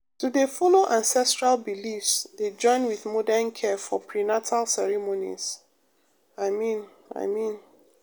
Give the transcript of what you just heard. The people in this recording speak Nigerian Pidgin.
to dey follow ancestral beliefs dey join with modern care for prenatal ceremonies i mean i mean.